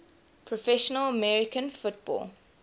professional american football